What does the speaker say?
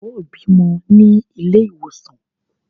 Ó bímọ ní ilé ìwòsàn!